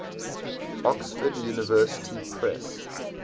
oxford university press